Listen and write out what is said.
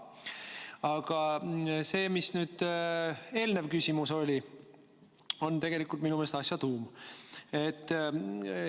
Aga see, mis oli eelnev küsimus, on minu meelest asja tuum.